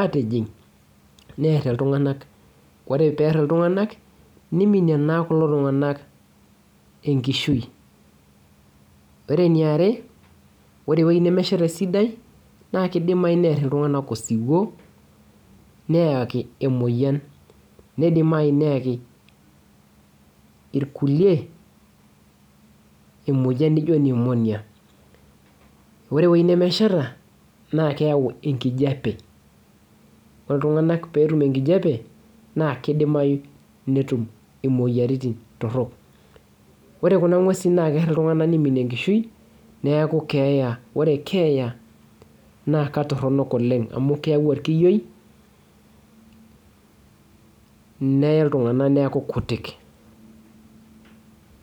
atijing nerr iltung'anak ore perr iltung'anak niminie naa kulo tung'anak enkishui ore eniare ore ewueji nemesheta esidai naa kidimai nerr iltung'anak osiwuo neyaki emoyian neidimai neyaki irkulie emoyian nijio pneumonia ore ewueji nemesheta naa keyau enkijape oltung'anak peetum enkijape naa kidimai netum imoyiaritin torrok ore kuna ng'uesin naa kerr iltung'ana niminie enkishui neeku keeya ore keeya naa katorronok oleng amu keyau orkiyioineye iltung'anak neeku kutik.